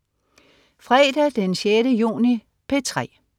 Fredag den 6. juni - P3: